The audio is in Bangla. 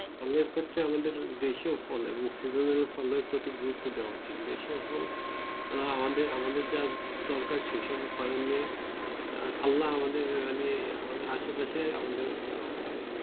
নিজের ক্ষেতের আমাদের দেশীয় ফল বা সিজেনাল ফলের প্রতি গুরুত্ব দেওয়া উচিত দেশীয় ফল বা যা আমাদের দরকার সিজেনাল ফল আমাদের আসে পাশের